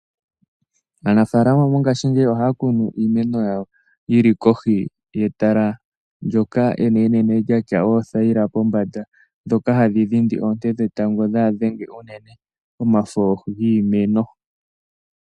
Aanafaalama mboka ohaya kunu iimeno yawo yili kohi yetala ndoka enene lyatya oothayila pombanda ndoka hali dhindi oonte dhetango kadhi dhenge omafo giimeno